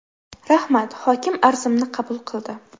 Rahmat, hokim arzimni qabul qildi.